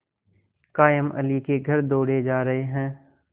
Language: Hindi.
कायमअली के घर दौड़े जा रहे हैं